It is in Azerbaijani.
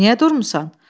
Niyə durmusan?